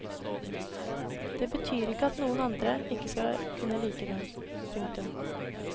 Det betyr ikke at noen andre ikke skal kunne like den. punktum